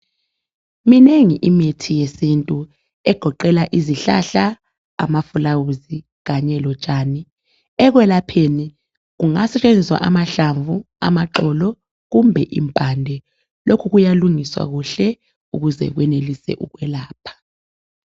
minengi imithi yesintu egoqela izihlahla amaflawuzi kanye lotshani ekwelapheni kungasetshenziswa amahlamvu amaxolo kumbe impande lokhu kuyalungiswa kuhle ukuze kwenelise ukwelapha